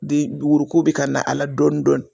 de woroko bi ka na ala dɔɔnin dɔɔnin.